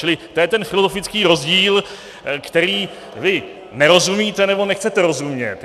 Čili to je ten filozofický rozdíl, kterému vy nerozumíte, nebo nechcete rozumět.